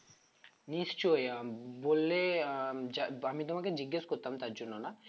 নিশ্চই আম বললে আম~ আমি তোমাকে জিজ্ঞেস করতাম তার জন্য না